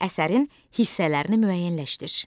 Əsərin hissələrini müəyyənləşdir.